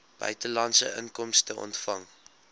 buitelandse inkomste ontvang